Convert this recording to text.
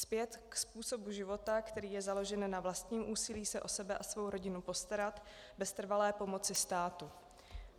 Zpět k způsobu života, který je založen na vlastním úsilí se o sebe a svou rodinu postarat, bez trvalé pomoci státu.